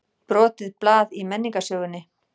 Brotið blað í menningarsögunni